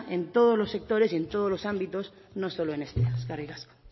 en todos los sectores y en todos los ámbitos no solo en este eskerrik asko